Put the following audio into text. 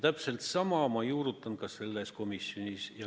Täpselt sama ma olen juurutanud ka selles probleemkomisjonis.